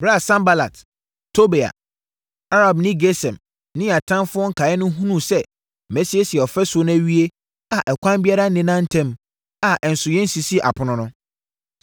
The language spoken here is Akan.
Ɛberɛ a Sanbalat, Tobia, Arabni Gesem ne yɛn atamfoɔ nkaeɛ no hunuu sɛ masiesie ɔfasuo no awie a ɛkwan biara nneda ntam a ɛnso yɛnsisii apono no,